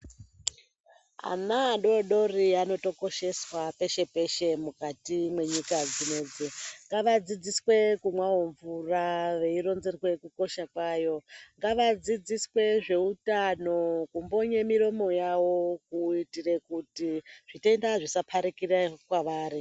Ana adodori anotokosheswa peshe -peshe mukati menyika dzino idzi. Ngavadzidziswe kumwawo mvura veironzerwa kukosha kwayo. Ngavadzidziswe zveutano kumbonye miromo yavo kuitira kuti zvitenda zvisaparikire kwavari.